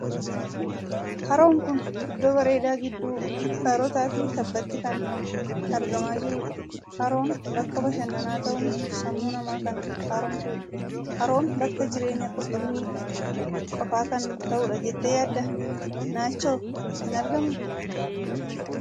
Haroon kun iddoo bareedaa gidduu gaarotaa fi tabbaatti kan argamaa jirudha. Haroon bakka bashannanaa ta'uun sammuu namaa kan haaromsudha. Haroon bakka jireenyaa qurxummiif qofaa kan ta'udha jettee yaaddaa? Naachi hoo hin argamuu?